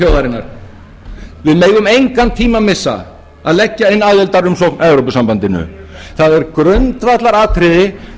þjóðarinnar við megum engan tíma missa að leggja inn aðildarumsókn að evrópusambandinu það er